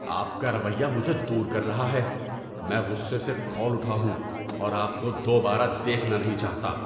آپ کا رویہ مجھے دور کر رہا ہے۔ میں غصے سے کھول اٹھا ہوں اور آپ کو دوبارہ دیکھنا نہیں چاہتا!